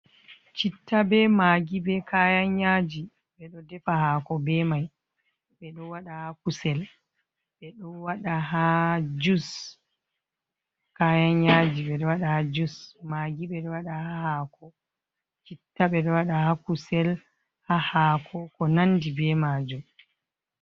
Citta, be magi, be kayan yaji ɓe ɗo defa hako be mai, ɓe ɗo wada ha kusel, ɓe ɗo wada ha jus, kayan yaji ɓe ɗo waɗa ha jus, magi be citta ɓe ɗo waɗa ha kusel, ha hako ko nandi be majum.